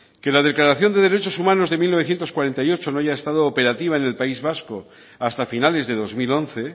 que la declaración de derechos humanos de mil novecientos cuarenta y ocho no haya estado operativa en el país vasco hasta finales de dos mil once